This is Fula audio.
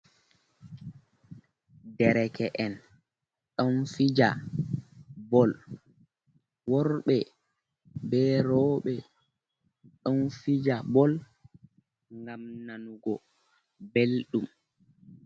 Derke'en ɗon fija bol, worɓe bee rowɓe ɗon fija bol, gam nanugo belɗum.